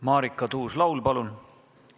Marika Tuus-Laul, palun!